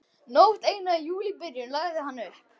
Nótt eina í júlíbyrjun lagði hann upp.